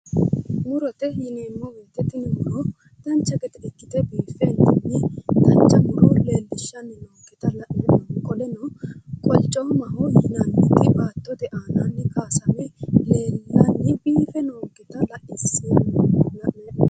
Murote yineemmo woyte tini muro dancha gede ikkite biifentinni dancha muro leellishanni noonkete la'nanni hee'no qoleno qolicomaho yinanniju baattote aananni kaysame leellanni biife noonketta xawisano